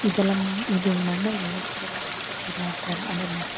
ಇದೆಲ್ಲ ಇದು ಮಣ್ಣಲ್ ಮೂರ್ತಿ ಎಲ್ಲ ಮಾಡ್ತಿರೋ ಥರ ಅಂದರೆ ಮಡಕೆ.